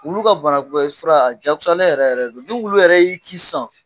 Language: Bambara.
Wulu ka banakunbɛ fura a jakosalen yɛrɛ yɛrɛ don ni wulu yɛrɛ y'i cin sisan